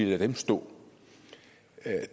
lade dem stå